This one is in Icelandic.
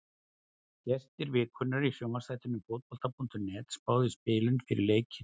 Gestir vikunnar í sjónvarpsþætti Fótbolta.net spáðu í spilin fyrir leikinn.